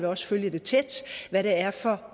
også følge tæt hvad det er for